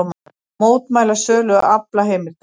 Mótmæla sölu aflaheimilda